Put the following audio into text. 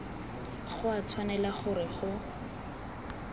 go a tshwanela gore go